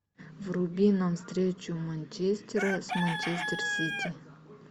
вруби нам встречу манчестера с манчестер сити